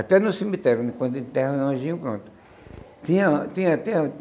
Até no cemitério né, quando enterra um anjinho, pronto. Tinha tinha tinha